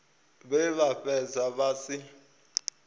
vhe vha fhedza vha si